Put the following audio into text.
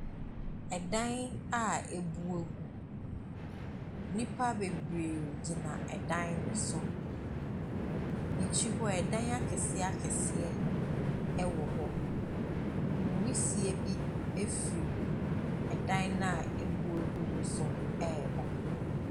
Ɛdan abu agu. Nnipa bebree gyina dan no so. N'akyi hɔ, dan akɛseɛ akɛseɛ wɔ hɔ. Nwisie bi firi ɛdan no a abu agu no so reba.